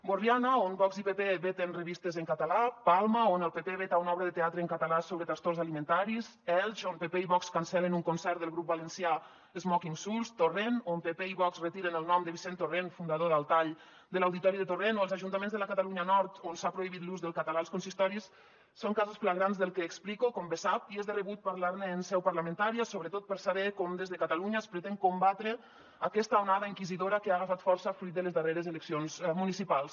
borriana on vox i pp veten revistes en català palma on el pp veta una obra de teatre en català sobre trastorns alimentaris elx on pp i vox cancel·len un concert del grup valencià smoking souls torrent on pp i vox retiren el nom de vicent torrent fundador d’al tall de l’auditori de torrent o els ajuntaments de la catalunya nord on s’ha prohibit l’ús del català als consistoris són casos flagrants del que explico com bé sap i és de rebut parlar ne en seu parlamentària sobretot per saber com des de catalunya es pretén combatre aquesta onada inquisidora que ha agafat força fruit de les darreres eleccions municipals